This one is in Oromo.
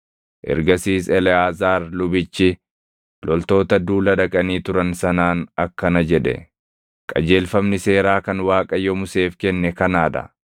Ergasiis Eleʼaazaar lubichi loltoota duula dhaqanii turan sanaan akkana jedhe; “Qajeelfamni seeraa kan Waaqayyo Museef kenne kanaa dha: